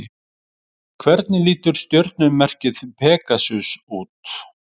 Hvernig lítur stjörnumerkið Pegasus út?